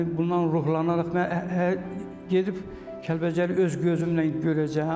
Yəni bundan ruhlanaraq mən gedib Kəlbəcəri öz gözümlə görəcəyəm.